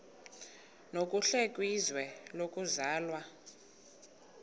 nokuhle kwizwe lokuzalwa